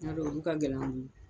olu ka man di.